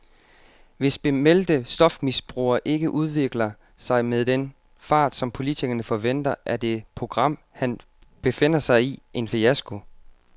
Hvis bemeldte stofmisbrugere ikke udvikler sig med den fart, som politikerne forventer, er det program, han befinder sig i, en fiasko.